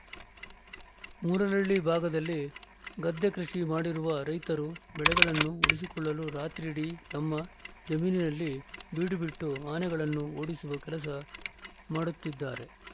ಮೂಲರಳ್ಳಿ ಭಾಗದಲ್ಲಿ ಗದ್ದೆ ಕೃಷಿ ಮಾಡಿರುವ ರೈತರು ಬೆಳೆಗಳನ್ನು ಉಳಿಸಿಕೊಳ್ಳಲು ರಾತ್ರಿಯಿಡೀ ತಮ್ಮ ಜಮೀನಿನಲ್ಲಿ ಬೀಡುಬಿಟ್ಟು ಆನೆಗಳನ್ನು ಓಡಿಸುವ ಕೆಲಸ ಮಾಡುತ್ತಿದ್ದಾರೆ